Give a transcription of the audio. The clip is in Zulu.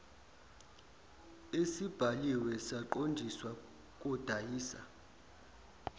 esibhaliwe saqondiswa kodayisa